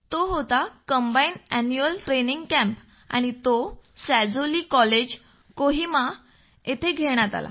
तो होता combined annual training camp आणि तो सॅझोली कॉलेज कोहिमा येथे घेण्यात आला